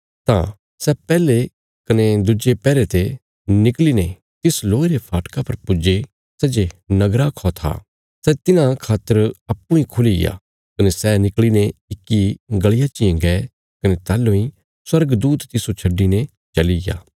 तां सै पैहले कने दुज्जे पैहरे ते निकल़ीने तिस लोहे रे फाटका पर पुज्जे सै जे नगरा खौ था सै तिन्हां खातर अप्पूँ इ खुलीग्या कने सै निकल़ीने इक्की गलिया चियें गये कने ताहलूं इ स्वर्गदूत तिस्सो छड्डिने चलिग्या